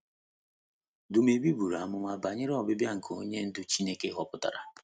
Dumebi buru amụma banyere ọbịbịa nke Onye Ndú Chineke họpụtara